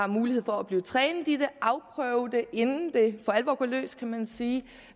mulighed for at blive trænet i det og afprøve det inden det for alvor går løs kan man sige